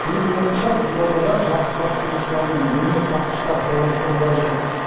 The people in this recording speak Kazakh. менің ойымша қызылордада жас құрастырушылар мен өнертапқыштар қорын құру қажет